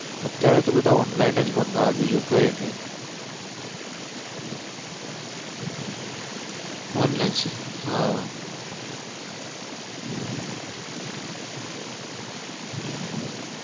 અત્યરે જ બધા online જ મંગાવે બીજું કઈ નઈ સેવા હા.